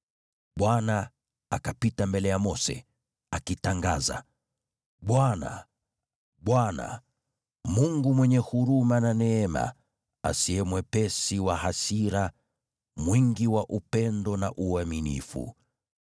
Bwana akapita mbele ya Mose, akitangaza, “ Bwana , Bwana , Mungu mwenye huruma na neema, asiye mwepesi wa hasira, mwingi wa upendo na uaminifu,